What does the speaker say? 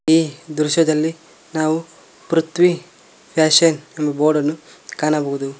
ಈ ದೃಶ್ಯದಲ್ಲಿ ನಾವು ಪೃಥ್ವಿ ಫ್ಯಾಶನ್ ಬೋರ್ಡ್ ಅನ್ನು ಕಾಣಬಹುದು.